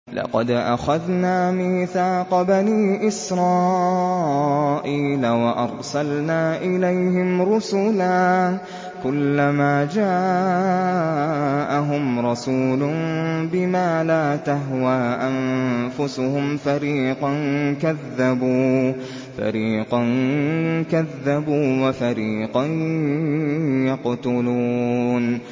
لَقَدْ أَخَذْنَا مِيثَاقَ بَنِي إِسْرَائِيلَ وَأَرْسَلْنَا إِلَيْهِمْ رُسُلًا ۖ كُلَّمَا جَاءَهُمْ رَسُولٌ بِمَا لَا تَهْوَىٰ أَنفُسُهُمْ فَرِيقًا كَذَّبُوا وَفَرِيقًا يَقْتُلُونَ